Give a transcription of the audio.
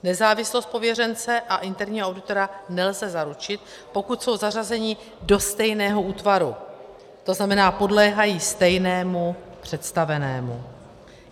Nezávislost pověřence a interního auditora nelze zaručit, pokud jsou zařazeni do stejného útvaru, to znamená, podléhají stejnému představenému.